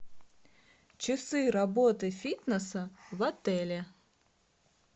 часы работы фитнеса в отеле